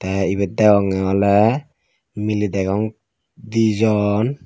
tey ibet deyongey oley miley degong dijon.